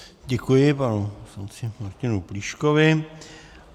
Děkuji panu poslanci Martinu Plíškovi.